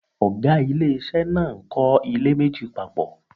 Oga ilé ìṣe náà ń kọ ilé méjì papọ